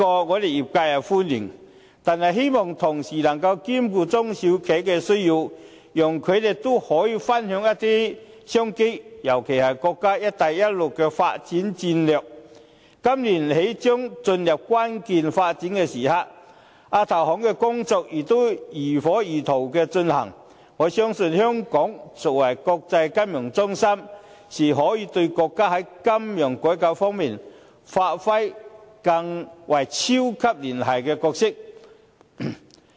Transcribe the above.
我們業界是歡迎這項措施的，但希望政府能夠同時兼顧中小企的需求，讓他們也可以分享一些商機，尤其是國家"一帶一路"的發展戰略，今年起將進入關鍵發展的時刻，亞投行的工作也如火如荼地進行，我相信香港作為國際金融中心，是可以對國家在金融改革方面發揮超級聯繫人的角色。